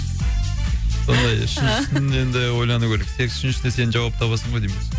сондай үшіншісін енді ойлану керек тек үшіншісіне сен жауап табасың ғой деймін